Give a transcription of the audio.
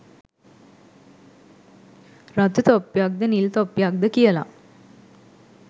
රතු තොප්පියක්ද නිල් තොප්පියක්ද කියල